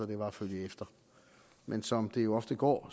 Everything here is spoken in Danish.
det var at følge efter men som det jo ofte går